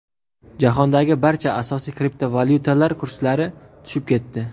Jahondagi barcha asosiy kriptovalyutalar kurslari tushib ketdi.